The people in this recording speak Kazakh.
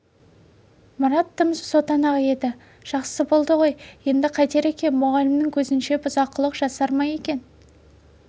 марат тым сотанақ еді жақсы болды ғой енді қайтер екен мұғалімнің көзінше бұзақылық жасар ма екен